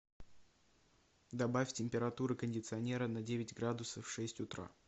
добавь температуру кондиционера на девять градусов в шесть утра